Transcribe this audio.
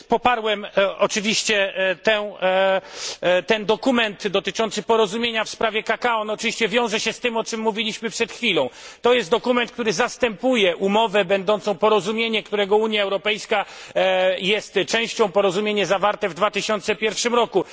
Poparłem oczywiście ten dokument dotyczący porozumienia w sprawie kakao, on oczywiście wiąże się z tym, o czym mówiliśmy przed chwilą. To jest dokument, który zastępuje umowę będącą porozumieniem, którego Unia Europejska jest częścią, porozumienie zawarte w 2001 roku.